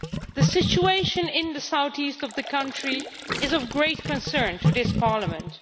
The situation in the south east of the country is of great concern to this Parliament.